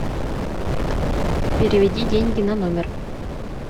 переведи деньги на номер